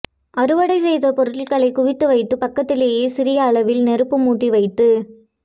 அறுவடை செய்த பொருட்களை குவித்து வைத்து பக்கத்திலேயே சிறிய அளவில் நெருப்பு மூட்டி வைத்து